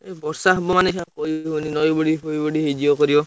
ଏଇ ବର୍ଷା ହବ ମାନେ ଏଇଛା କହିହବନୀ ନଇ ବଢି ଫଇ ବଢି ହେଇଯିବ କରିବ।